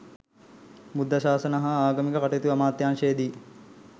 බුද්ධ ශාසන හා ආගමික කටයුතු අමාත්‍යාංශයේ දී